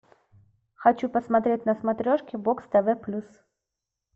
хочу посмотреть на смотрешке бокс тв плюс